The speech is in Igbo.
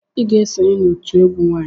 Ị ga-esonye n'òtù egwu nwanyị!